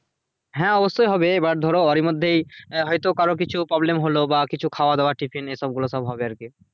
হ্যাঁ অব্যশই হবে এবার ধরো ওরি মধ্যে হয়তো কারুর কিছু problem হলো বা কিছু খাওয়া দাওয়া tiffin এ সবগুলো সব হবে আর কি